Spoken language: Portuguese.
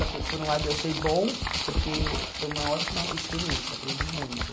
Só que por um lado eu achei bom, porque foi uma ótima experiência, aprendi muito.